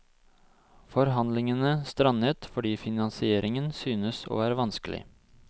Forhandlingene strandet fordi finansieringen synes å være vanskelig.